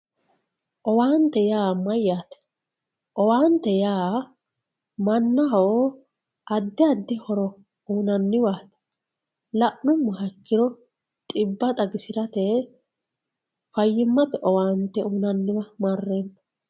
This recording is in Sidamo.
Owaante yaa mayyate, owaante yaa mannaho addi addi horo uyinanniwa la'nuummoha ikkiro xibba xagisirate faayyimate owaante uyinanniwa marreemmo.